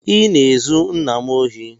I na-ezu nna m ohi